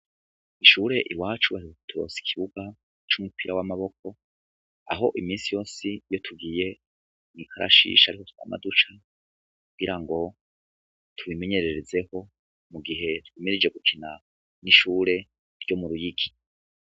Mw'ishure iwacu baheruka kuturonsa ikibuga c'umupira w'amaboko, aho iminsi yose iyo tugiye mw'ikarashishi ariho twama duca, kugira ngo twimenyererezeho, mugihe twimirije gukina n'ishire ryo mu Ruyigi .